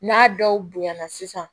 N'a dɔw bonyana sisan